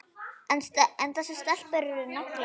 En þessar stelpur eru naglar.